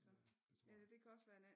Ja det tror jeg